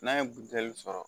N'a ye butɛli sɔrɔ